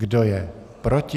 Kdo je proti?